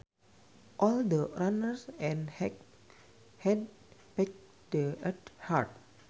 All the runners had packed the earth hard